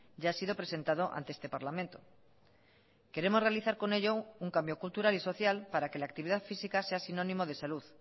ya ha sido presentado ante este parlamento queremos realizar con ello un cambio cultural y social para que la actividad física sea sinónimo de salud